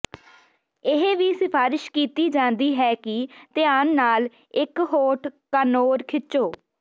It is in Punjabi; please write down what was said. ਇਹ ਵੀ ਸਿਫਾਰਸ਼ ਕੀਤੀ ਜਾਂਦੀ ਹੈ ਕਿ ਧਿਆਨ ਨਾਲ ਇੱਕ ਹੋਠ ਕਾਨੌਰ ਖਿੱਚੋ